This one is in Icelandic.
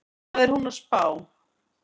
Hvað er hún að spá?